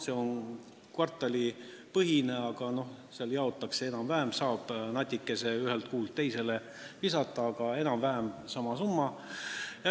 See on kvartalipõhine summa, natuke saab ühest kuust teise üle kanda, aga enam-vähem on summa sama.